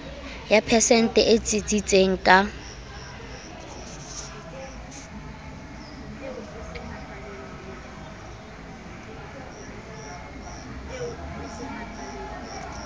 ya phesente e tsitsitseng ka